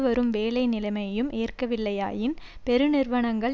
வரும் வேலை நிலைமையையும் ஏற்கவில்லையாயின் பெருநிறுவனங்கள்